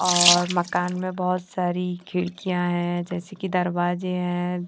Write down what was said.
और मकान में बहोत सारी खिड़कियां हैं जैसे की दरवाजे हैं।